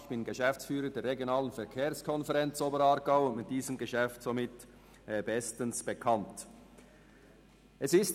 Ich bin Geschäftsführer der RVK Oberaargau und mit diesem Geschäft somit bestens vertraut.